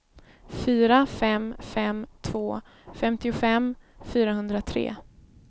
fyra fem fem två femtiofem fyrahundratre